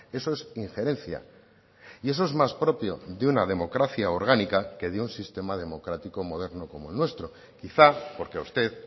eso es injerencia y eso es más propio de una democracia orgánica que de un sistema democrático moderno como el nuestro quizá porque a usted